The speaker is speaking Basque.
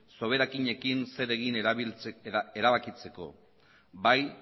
soberakinekin zer egin erabakitzeko bai